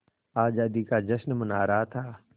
आज़ादी का जश्न मना रहा था